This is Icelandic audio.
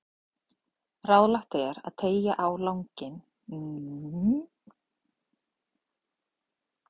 Ráðlegt er að teygja þær á langinn með hléum eða ástaratlotum.